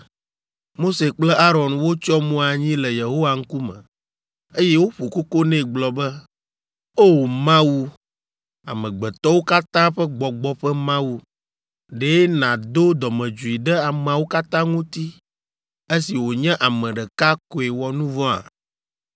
Mose kple Aron wotsyɔ mo anyi le Yehowa ŋkume, eye woƒo koko nɛ gblɔ be, “O! Mawu, amegbetɔwo katã ƒe gbɔgbɔ ƒe Mawu, ɖe nàdo dɔmedzoe ɖe ameawo katã ŋuti esi wònye ame ɖeka koe wɔ nu vɔ̃a?”